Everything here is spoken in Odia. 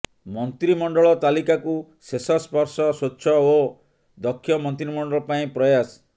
ମନ୍ତ୍ରିମଣ୍ଡଳ ତାଲିକାକୁ ଶେଷ ସ୍ପର୍ଶ ସ୍ୱଚ୍ଛ ଓ ଦକ୍ଷ ମନ୍ତ୍ରିମଣ୍ଡଳ ପାଇଁ ପ୍ରୟାସ